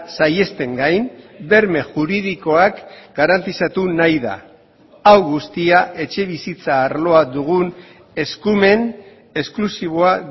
saihesten gain berme juridikoak garantizatu nahi da hau guztia etxebizitza arloa dugun eskumen esklusiboa